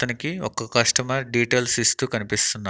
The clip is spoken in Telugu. తనకి ఒక కస్టమర్ డీటెయిల్స్ ఇస్తూ కనిపిస్తున్నారు.